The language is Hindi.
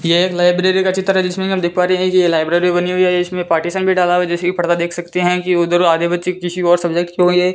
यह एक लाइब्रेरी का चित्र है जिसमें आप देख पा रहे हैं की ये लाइब्रेरी बनी हुई है इसमें पार्टीशन भी डाला हुआ है जैसे कि परदा देख सकते हैं कि उधर आधे बच्चे किसी और सब्जेक्ट के होगे।